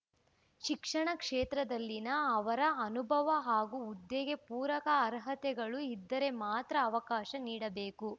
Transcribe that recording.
ಶಿಕ್ಷಣ ಕ್ಷೇತ್ರದಲ್ಲಿನ ಅವರ ಅನುಭವ ಹಾಗೂ ಹುದ್ದೆಗೆ ಪೂರಕ ಅರ್ಹತೆಗಳು ಇದ್ದರೆ ಮಾತ್ರ ಅವಕಾಶ ನೀಡಬೇಕು